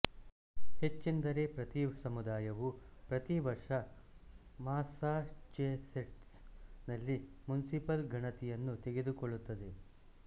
ಹೆಚ್ಚೆಂದರೆ ಪ್ರತಿ ಸಮುದಾಯವು ಪ್ರತಿ ವರ್ಷ ಮಾಸ್ಸಾಚೆಸೆಟ್ಸ್ ನಲ್ಲಿ ಮುನ್ಸಿಪಲ್ ಗಣತಿಯನ್ನು ತೆಗೆದುಕೊಳ್ಳುತ್ತದೆ